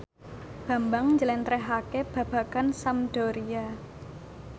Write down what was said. Bambang njlentrehake babagan Sampdoria